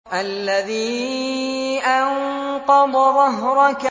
الَّذِي أَنقَضَ ظَهْرَكَ